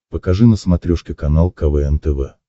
покажи на смотрешке канал квн тв